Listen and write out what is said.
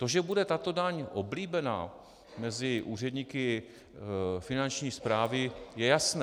To, že bude tato daň oblíbená mezi úředníky Finanční správy, je jasné.